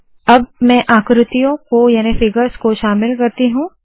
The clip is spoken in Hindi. अब मैं आकृतियों को याने फिगर्स शामिल करती हूँ